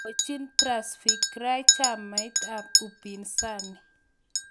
Indochin Tsavigrai chamait ab upinzani